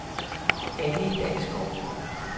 Annie Dalsgaard